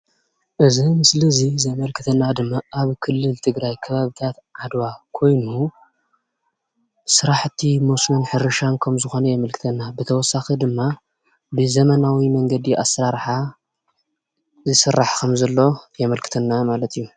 እዚ ምስሊ እዚ ዘመልክተና ድማ ኣብ ክልል ትግራይ ከባብታት ዓድዋ ኮይኑ ስራሕቲ መስኖን ሕርሻን ከምዝኾነ የመልክተና፡፡ ብተወሳኺ ድማ ብዘመናዊ መንገዲ ኣሰራርሓ ይስራሕ ከምዘሎ የመልክተና ማለት እዩ፡፡